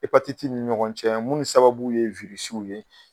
E patitiw ni ɲɔgɔn cɛ, minnu sababu ye wirisiw ye.